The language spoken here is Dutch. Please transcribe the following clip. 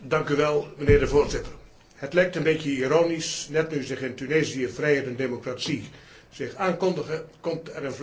Het lijkt een beetje ironisch net nu zich in Tunesië vrijheid en democratie aankondigen, komt er een vluchtelingenstroom op gang.